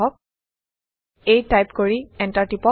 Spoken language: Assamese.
a টাইপ কৰি এণ্টাৰ টিপক